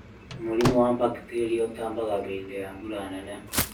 Mũrimũ wa bakteria utambaga hĩndĩ ya mbura nene